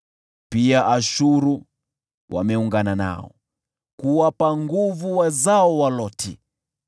Hata Ashuru wameungana nao kuwapa nguvu wazao wa Loti.